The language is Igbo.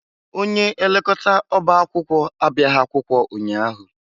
Onye elekọta ọbá akwụkwọ abịaghị akwụkwọ ụnyahụ.